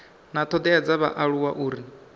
na thodea dza vhaaluwa uri